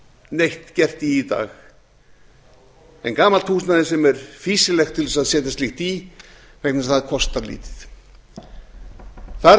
neitt gert í í dag en gamalt húsnæði sem er fýsilegt til þess að setja slíkt í vegna þess að það kostar lítið þar gæti